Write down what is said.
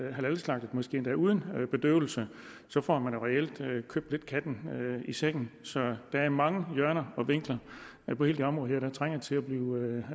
er halalslagtet måske endda uden bedøvelse så får man jo reelt købt katten i sækken så der er mange hjørner og vinkler på hele det område her der trænger til at blive